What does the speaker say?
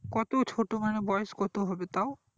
কত ছোট মানে বয়স কতটা হবে তাও